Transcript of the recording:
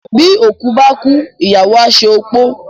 Bí oko báá kúú, Ìyàwó à à se opó.